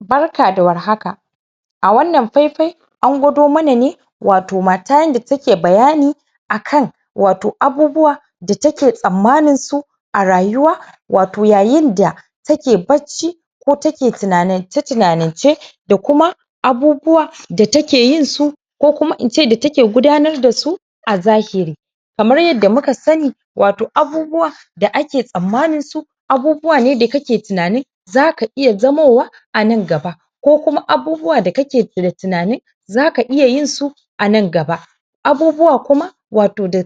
Barka da war haka a wannan faifai an gwado mana ne wato mata yanda take bayani a kan wato abubuwa da take tsammaninsu a rayuwa wato yayinda take bacci ko take tinanance tinanance da kuma abubuwa da take yinsu ko kuma in ce da take gudanar da su a zahiri. Kamar yadda muka sani wato abubuwa da ake tsammaninsu abubuwa ne da kake tunani za ka iya zamowa a nan gaba ko kuma abubuwa da kake da tinanin za ka iya yinsu a nan gaba. Abubuwa kuma wato da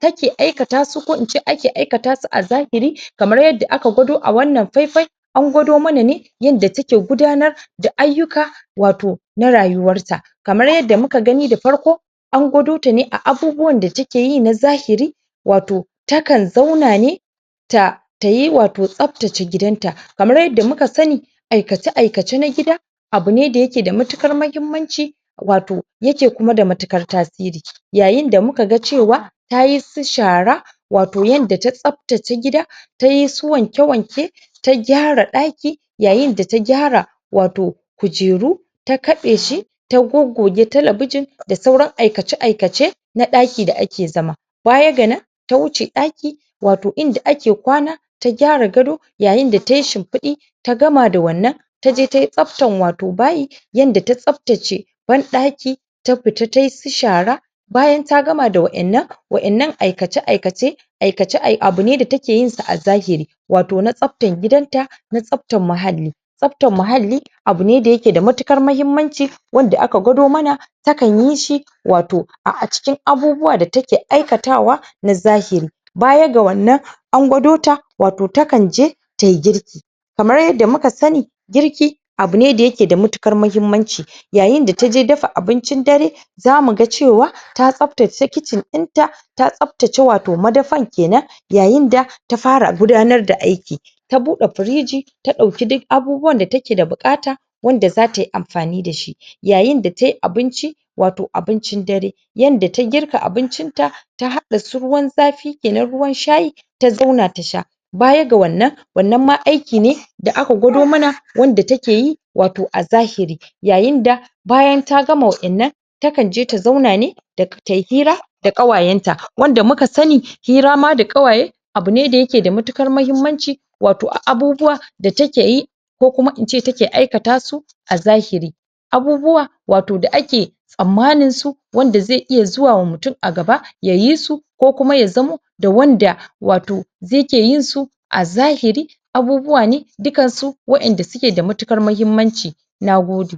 kake aikata su ko in ce ake aikata su a zahiri kamar yadda aka gwado a wannan faifai an gwado mana ne yanda take gudanar da ayyuka wato na rayuwarta. Kamar yadda muka gani da farko an gwado ta ne da abubuwan da take yi na zahiri wato takan zauna ne ta ta yi wato tsaftace gidanta. Kamar yadda muka sani aikace aikace na gida abu ne da yake da matuƙar mahimmanci wato yake kuma da matuƙar tasiri. Yayin da muka ga cewa tayi su shara wato yanda ta tsaftace gida ta yi su wanke wanke ta gyara ɗaki yayin da ta gyara wato kujeru, ta kaɗe shi, ta goggoge talabijin da sauran aikace aikace na ɗaki da ake zama. Baya ga nan, ta wuce ɗaki wato inda ake kwana ta gyara gado yayin da tai shimfiɗi ta gama da wannan, ta je tai tsaftan wato bayi, yanda ta tsaftace banɗaki ta fita tai su shara bayan ta gama da waƴannan, waƴannan aikace aikace aikace abu ne da take yinsa a zahiri, wato na tsaftan gidanta na, tsaftan mahalli. Tsaftan mahalli abu ne da yake da matuƙar mahimmanci wanda aka gwado mana takan yi shi wato a a cikin abubuwa da take aikatawa na zahiri. Baya ga wannan, an gwado ta wato takan je tai girki kamar yadda muka sani girki abu ne da yake da matuƙar mahimmanci yayin da ta je dafa abincin dare za mu ga cewa ta tsaftace kitchen ɗinta ta tsaftace wato madafan kenan yayin da ta fara gudanar da aiki. Ta buɗe firiji ta ɗauki duk abubuwan da take da buƙata wanda za ta yi amfani da shi yayin da ta yi abinci wato abincin dare yanda ta girka abincinta ta haɗa su ruwan zafi kenan, ruwan shayi, ta zauna ta sha. Baya ga wannan, wannan ma aiki ne da aka gwado mana wanda take yi wato a zahiri. Yayin da bayan ta gama waɗannan takan je ta zauna ne da tai hira da ƙawayenta wanda muka sani hira ma da ƙawaye abu ne da yake da matuƙar mahimmanci wato a abubuwa da take yi ko kuma in ce take aikata su a zahiri. Abubuwa wato da ake tsammaninsu wanda ze iya zuwa wa mutun a gaba ya yi su ko kuma ya zamo da wanda wato ze ke yinsu a zahiri abubuwa ne dukansu waƴanda suke da matuƙar mahimmanci. Na gode.